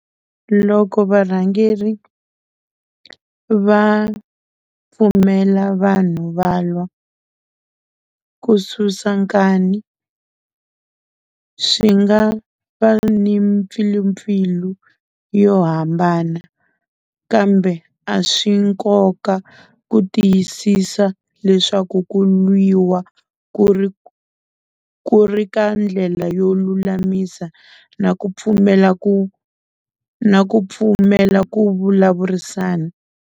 Loko varhangeri va pfumela vanhu va lwa ku susa nkani swi nga va ni mpfilimpfilu yo hambana, kambe a swi nkoka ku tiyisisa leswaku ku lwiwa ku ri ku ku ri ka ndlela yo lulamisa na ku pfumela ku na ku pfumela ku vulavurisana.